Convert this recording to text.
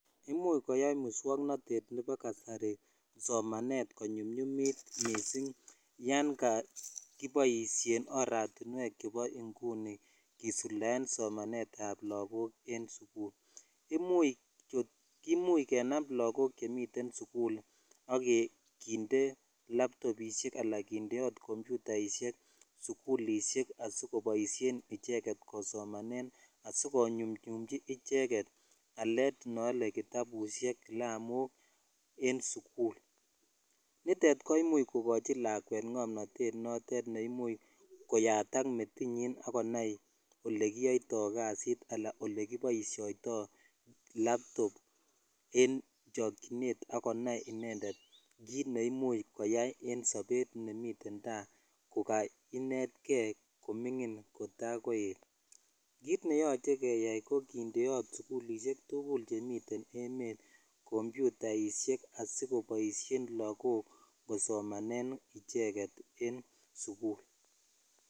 Imuch koyai muswoknotet nebo kasari somanet konyumnyumit mising yoon kokiboitshen oratinwe chebo nguni kisuldaen somanetab lokok en sukul, kimuch kenam lokok chemien sukul ak kinde laptobishek alaan kindeot kompyutaishek sukulishek asikoboishen icheket kosomanen asikonyumnyumchi icheket aleet neolee kitabushek ilamok en sukul, nitet komuche kokochi lakwet ngomnotet notet neimuch koyatak metiny ak konai elekiyoito kasit alaa olekiboishoito laptop en chokyinet ak konai inendet kiit neimuch koyai en sobet nemiten taa ko kainekee komingin kotaa koyet, kiit neyoche keyai ko kindeot sukulishek tukul chemiten emet kompyutaishek asikoboishen lokok kosomanen icheket en sukul.